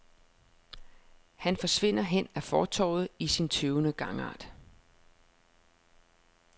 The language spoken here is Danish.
Han forsvinder hen ad fortovet i sin tøvende gangart.